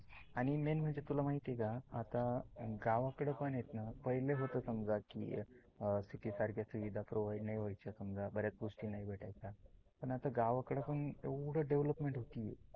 आणि main म्हणजे तुला माहिती आहे का गावाकड पण आता आहेत ना, पहिले होत समजा कि city सारख्या सुविधा provide नाही वायच्या समजा बर्याच गोष्टी नाही भेटायच्या पण आता गावाकड येवड development होत आहे.